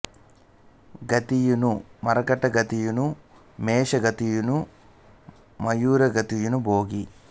గతియును మర్కట గతియును మేష గతియును మయూర గతియును భోగి